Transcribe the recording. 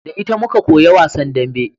Da ita muka koya wasan dambe